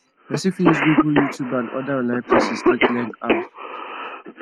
person fit use google youtube and oda online places take learn how